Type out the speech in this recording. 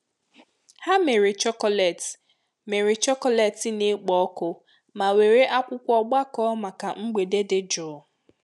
Ha mere chocolate mere chocolate na-ekpo ọkụ ma were akwụkwọ gbakọọ maka mgbede dị jụụ.